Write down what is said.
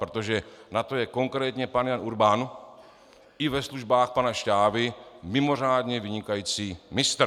Protože na to je konkrétně pan Jan Urban i ve službách pana Šťávy mimořádně vynikající mistr.